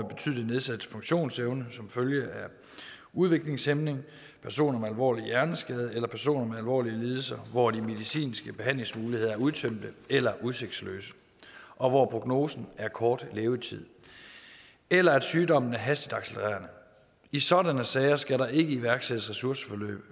betydelig nedsat funktionsevne som følge af udviklingshæmning personer med en alvorlig hjerneskade eller en person med alvorlige lidelser hvor de medicinske behandlingsmuligheder er udtømte eller udsigtsløse og hvor prognosen er kort levetid eller at sygdommen er hastigt accelererende i sådanne sager skal der ikke iværksættes ressourceforløb